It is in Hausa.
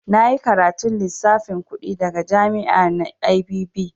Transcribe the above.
Na yi karatun lissafin kuɗi daga jami'a na IBB.